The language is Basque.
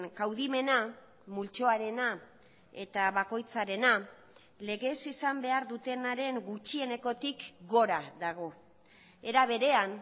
kaudimena multzoarena eta bakoitzarena legez izan behar dutenaren gutxienekotik gora dago era berean